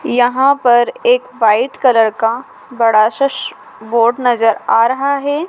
यहां पर एक वाइट कलर का बड़ा सा सु बोर्ड नजर आ रहा है।